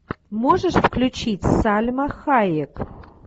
можешь включить сальма хайек